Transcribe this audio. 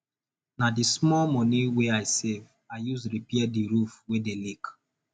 na di small moni we i save i use repair di roof wey dey leak